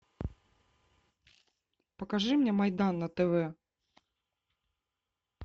покажи мне майдан на тв